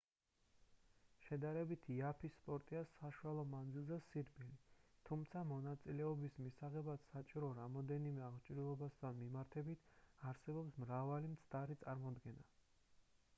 შედარებით იაფი სპორტია საშუალო მანძილზე სირბილი თუმცა მონაწილეობის მისაღებად საჭირო რამდენიმე აღჭურვილობასთან მიმართებით არსებობს მრავალი მცდარი წარმოდგენა